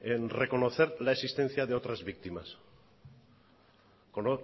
reconocer la existencia de otras víctimas